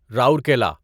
Rourkela